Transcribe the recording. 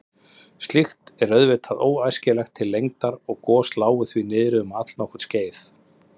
Slíkt er auðvitað óæskilegt til lengdar og gos lágu því niðri um allnokkurt skeið.